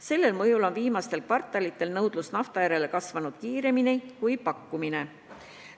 Selle mõjul on viimastel kvartalitel nõudlus nafta järele kasvanud kiiremini kui pakkumine.